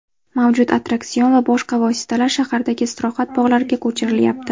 Mavjud attraksion va boshqa vositalar shahardagi istirohat bog‘lariga ko‘chirilyapti.